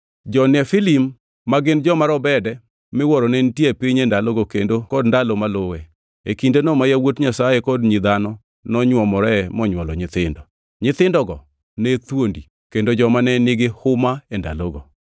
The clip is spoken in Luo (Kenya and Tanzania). Jo-Nefilim ma gin joma robede miwuoro ne nitie e piny e ndalogo kendo kod ndalo maluwe, e kindeno ma yawuot Nyasaye kod nyi dhano nonywomore monywolo nyithindo. Nyithindogo ne thuondi kendo joma ne nigi huma e ndalogo.